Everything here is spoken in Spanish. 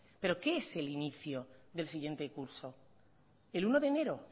pero qué es el inicio del siguiente curso el uno de enero